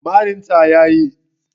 Marin ta ya yi